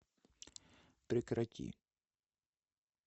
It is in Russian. прекрати